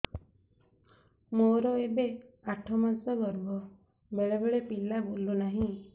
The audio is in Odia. ମୋର ଏବେ ଆଠ ମାସ ଗର୍ଭ ବେଳେ ବେଳେ ପିଲା ବୁଲୁ ନାହିଁ